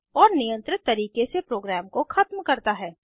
और नियंत्रित तरीके से प्रोग्राम को ख़त्म करता है